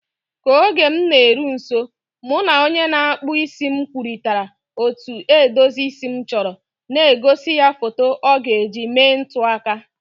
Ka oge m na-eru nso, mụ na onye na-akpụ isi m kwurịtara otú edozi isi m chọrọ, na-egosi ya foto ọ ga-eji mee ntụaka.